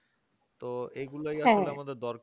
তো এইগুলোই এখন আমাদের দরকার